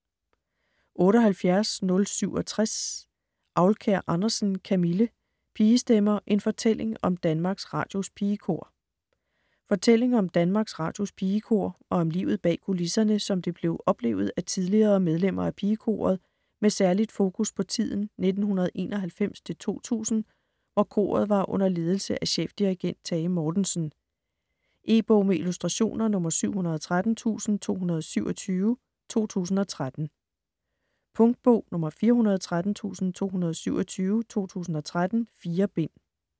78.067 Aulkær Andersen, Camille: Pigestemmer: en fortælling om Danmarks Radios Pigekor Fortælling om Danmarks Radios Pigekor og om livet bag kulisserne, som det blev oplevet af tidligere medlemmer af pigekoret med særligt fokus på tiden 1991-2000, hvor koret var under ledelse af chefdirigent Tage Mortensen. E-bog med illustrationer 713227 2013. Punktbog 413227 2013. 4 bind.